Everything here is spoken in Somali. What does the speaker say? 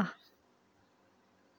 ah